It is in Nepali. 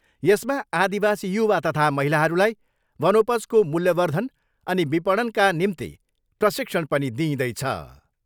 यसमा आदिवासी युवा तथा महिलाहरूलाई वनोपजको मूल्यवर्धन अनि विपणनका निम्ति प्रशिक्षण पनि दिइँदैछ।